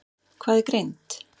Hvað er greind?